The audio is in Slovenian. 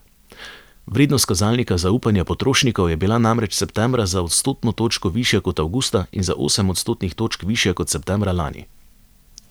Vrednost kazalnika zaupanja potrošnikov je bila namreč septembra za odstotno točko višja kot avgusta in za osem odstotnih točk višja kot septembra lani.